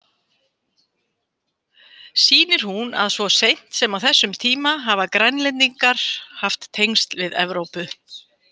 Sýnir hún að svo seint sem á þessum tíma hafa Grænlendingar haft tengsl við Evrópu.